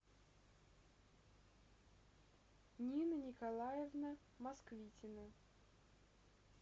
нина николаевна москвитина